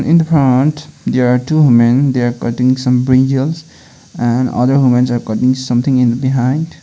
in the front there are two women they are cutting some brinjals and other womens are cutting something in behind.